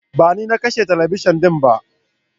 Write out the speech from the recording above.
Bani nakashe talabijin dinba.